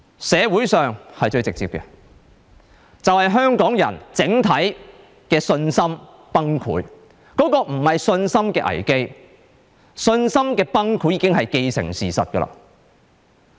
社會是最直接的，香港人整體的信心崩潰，這不是信心的危機，信心的崩潰已經既成事實。